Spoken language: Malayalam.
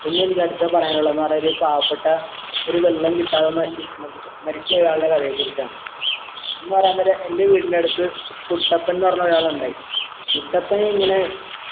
പിന്നെ എനിക്ക് അടുത്ത പറയാനുള്ളന്ന് പറഞ്ഞാൽ ഒരു പാവപെട്ട ഒരു വെള്ളം കിട്ടാതെ ശനി ന്നു മരിച്ചു പോയ ആൾടെ കഥയെ കുറിച്ചാണ് എന്ന് പറയാൻ നേരം എൻ്റെ വീടിന്റടുത്ത് കുട്ടപ്പൻന്ന് പറഞ്ഞ ഒരാളിണ്ടായി കുട്ടപ്പൻ ഇങ്ങനെ